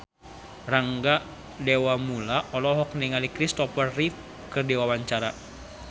Rangga Dewamoela olohok ningali Christopher Reeve keur diwawancara